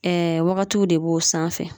Ɛɛ wagatiw de b'o sanfɛ